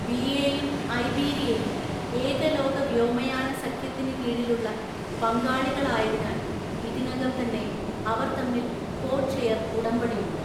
ബിഎയും ഐബീരിയയും ഏകലോക വ്യോമയാന സഖ്യത്തിന് കീഴിലുള്ള പങ്കാളികളായതിനാല്‍ ഇതിനകം തന്നെ അവര്‍തമ്മില്‍ കോഡ്‌ഷെയർ ഉടമ്പടിയുണ്ട്.